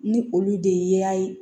Ni olu de ye yaa ye